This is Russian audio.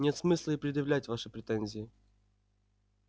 нет смысла и предъявлять ваши претензии